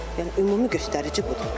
Yəni ümumi göstərici budur.